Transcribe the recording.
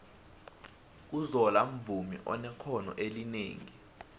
uzola mvumi onexhono elinengi